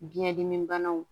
Biɲɛ dimi banaw